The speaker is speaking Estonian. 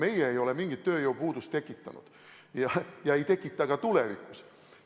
Meie ei ole mingit tööjõupuudust tekitanud ja ei tekita ka tulevikus.